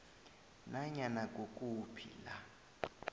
nanyana kukuphi la